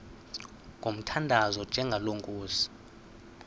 ngomthandazo onjengalo nkosi